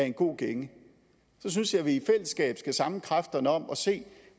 en god gænge synes jeg at vi i fællesskab skal samle kræfterne om at se